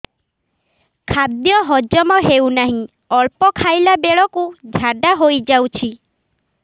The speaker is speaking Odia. ଖାଦ୍ୟ ହଜମ ହେଉ ନାହିଁ ଅଳ୍ପ ଖାଇଲା ବେଳକୁ ଝାଡ଼ା ହୋଇଯାଉଛି